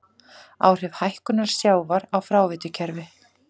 Áhrif hækkunar sjávar á fráveitukerfi.